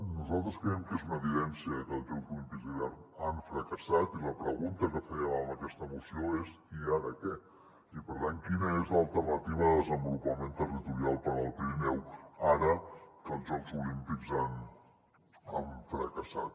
nosaltres creiem que és una evidència que els jocs olímpics d’hivern han fracassat i la pregunta que fèiem amb aquesta moció és i ara què i per tant quina és l’alternativa de desenvolupament territorial per al pirineu ara que els jocs olímpics han fracassat